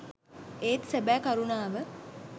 ඒත් සැබෑ කරුණාව